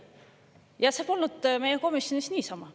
Ja see polnud meie komisjonis niisama.